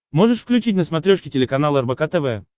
можешь включить на смотрешке телеканал рбк тв